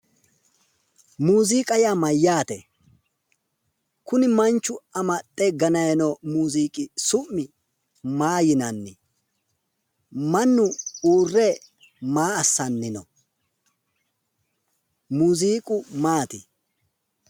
Muuziiqa yaa mayyaate? Kuni manchu amaxxe gananni noo muuziiqi su'mi maa yinanni? Mannu uurre maa assanni no? Muuziiqu maati?